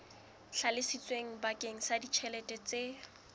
hlalositsweng bakeng sa ditjhelete tse